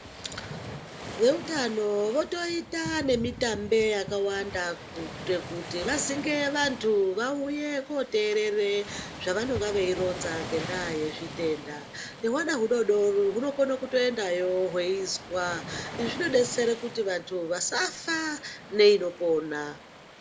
Vehutano votoita nemitambe yakawanda kuti vazwnge vantu vauya koterera zvavanenge veironza ngenda yezvitenda ngehwana hudodori hunokona kutoendawo weinzwa izvi zvinodetsera kuti vantu vasafa neinopona.